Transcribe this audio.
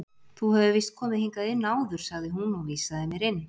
Þú hefur víst komið hingað inn áður sagði hún og vísaði mér inn.